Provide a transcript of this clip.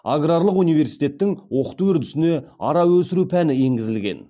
аграрлық университеттің оқыту үрдісіне ара өсіру пәні енгізілген